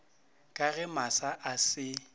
ka ge masa a se